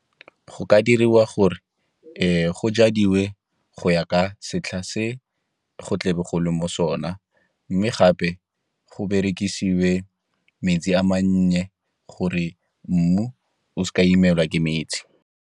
Go ka diriwa gore go jadiwe go ya ka setlha se go tle be gole mo sona, mme gape go berekisiwe metsi a mannye gore mmu o se ka imelwa ke metsi.